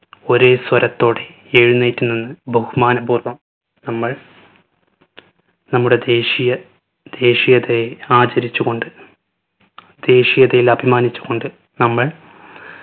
ഒരേ സ്വരത്തോടെ എഴുന്നേറ്റ് നിന്ന് ബഹുമാനപൂർവ്വം നമ്മൾ നമ്മുടെ ദേശിയ ദേശീയതയെ ആചരിച്ചു കൊണ്ട് ദേശീയതയിൽ അഭിമാനിച്ചു കൊണ്ട് നമ്മൾ